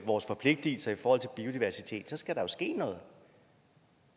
vores forpligtigelser i forhold til biodiversitet så skal der ske noget